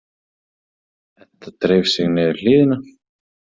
Edda dreif sig niður hlíðina.